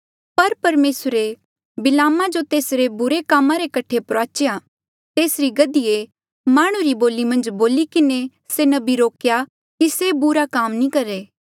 पर परमेसरे बिलामा जो तेसरे बुरे कामा रे कठे प्रुआचेया तेसरी गधीए माह्णुं री बोली मन्झ बोली किन्हें से नबी रोकेया की से बुरा काम नी करहे